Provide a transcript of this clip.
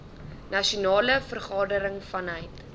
nasionale vergadering vanuit